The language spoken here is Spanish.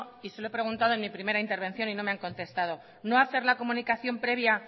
y se lo he preguntado en mi primera intervención y no me han contestado no hacer la comunicación previa